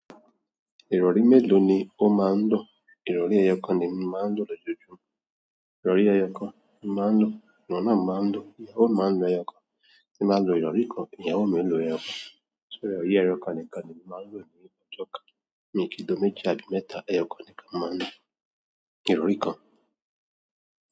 Ìrọ̀rí mélòó ni ó máa ń lò? Ìrọ̀rí ẹyọ kan ni emi máà ń lò. Irọ̀ri ẹyọ kan ni máa ń lò. Ohun náà mo máa ń lò. Ìyàwó mi máa ń lo ẹyọ kan. Mo máa ń lo ìrọ̀rí kan. Ìyàwó mi ń lo ẹyọ kan. So irọ̀ri ẹyọ kan nìkan ni emi máà ń lò nílé lọ́jọ́ kan. Mi kí n lo méjì àbí mẹ́ta. Ẹyọ kan nìkan mo máa ń lò. Ìrọ̀rí kan.